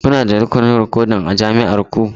Kuna da rukunin rikodin a jami'ar ku?